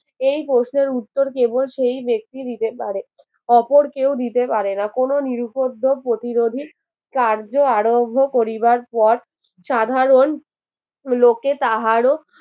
এই প্রশ্নের উত্তর কেবল সেই ব্যক্তি দিতে পারে অপর কেউ দিতে পারে না কোন নিরুপদ্রব প্রতিরোধী কার্য আরম্ভ করিবার পর সাধারণ লোকে তাহারও